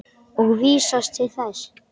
og vísast til þess.